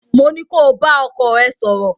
mó ní ko bá ọkọ ẹ sọ̀rọ̀!